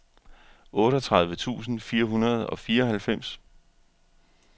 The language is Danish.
otteogtredive tusind fire hundrede og fireoghalvfems